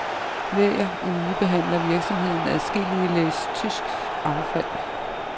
Hver uge behandler virksomheden adskillige læs tysk affald.